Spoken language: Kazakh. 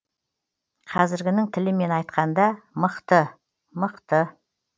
қазіргінің тілімен айтқанда мықты мықты